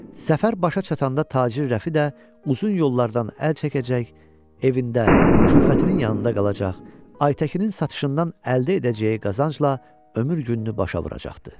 Səfər başa çatanda tacir Rəfi də uzun yollardan əl çəkəcək, evində, külfətinin yanında qalacaq, Aytəkinin satışından əldə edəcəyi qazancla ömür gününü başa vuracaqdı.